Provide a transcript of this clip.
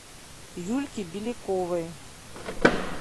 юльке беляковой